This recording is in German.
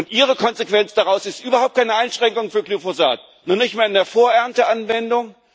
Und Ihre Konsequenz daraus ist überhaupt keine Einschränkung für Glyphosat, noch nicht einmal in der Vor Ernte Anwendung.